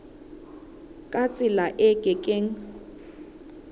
ka tsela e ke keng